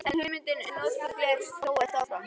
En hugmyndin um notkun glers þróast áfram.